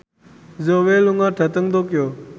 Zhao Wei lunga dhateng Tokyo